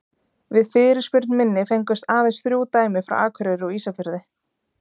Við fyrirspurn minni fengust aðeins þrjú dæmi frá Akureyri og Ísafirði.